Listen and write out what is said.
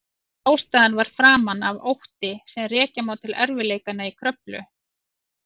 Ástæðan var framan af ótti sem rekja má til erfiðleikanna í Kröflu.